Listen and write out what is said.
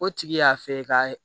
O tigi y'a fɛ ka